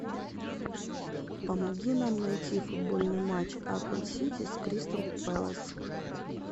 помоги нам найти футбольный матч апл сити с кристал пэлас